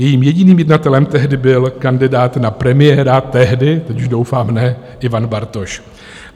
Jejím jediným jednatelem tehdy byl kandidát na premiéra - tehdy, teď už doufám ne - Ivan Bartoš.